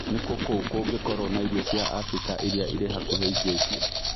Nĩkũ kũ kũngĩkorũo na irio cia Afrika iria irĩ hakuhĩ ingĩtia